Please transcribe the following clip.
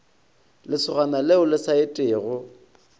lesogana le le sa etego